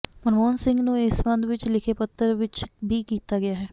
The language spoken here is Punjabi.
ਮਨਮੋਹਨ ਸਿੰਘ ਨੂੰ ਇਸ ਸਬੰਧ ਵਿੱਚ ਲਿਖੇ ਪੱਤਰ ਵਿੱਚ ਵੀ ਕੀਤਾ ਗਿਆ ਹੈ